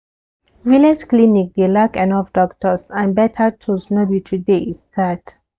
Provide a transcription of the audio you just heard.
village clinic dey lack enough doctors and better tools no be today e start.